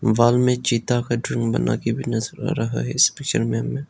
Wall में चीता cartoon बना के भी नजर आ रहा है इस पिक्चर में हमें।